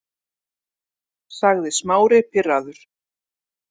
sagði Smári pirraður.